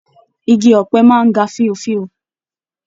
Ìgi ọ̀pẹ máa n ga fíòfíò.